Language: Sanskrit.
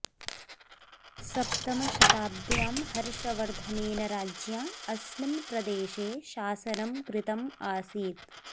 सप्तमशताब्द्यां हर्षवर्धनेन राज्ञा अस्मिन् प्रदेशे शासनं कृतम् आसीत्